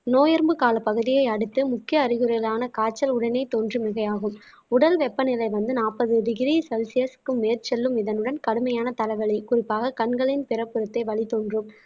நோயெறும்பு கால பகுதியே அடுத்து முக்கிய அறிகுறிகளான காய்ச்சல் உடனே தோன்றும் மிகையாகும் உடல் வெப்பநிலை வந்து நாப்பது டிகிரி செல்சியஸ்க்கு மேற்செல்லும் இதனுடன் கடுமையான தலைவலி குறிப்பாக கண்களின் பிறப்புறுத்தே வலி தோன்றும்